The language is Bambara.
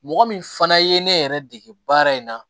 Mɔgɔ min fana ye ne yɛrɛ dege baara in na